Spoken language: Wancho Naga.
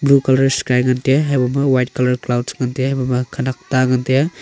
blue colour sky ngan taiga haboh ma white colour sky cloud ngan taiga haboh ma khanak ta ngan tai a.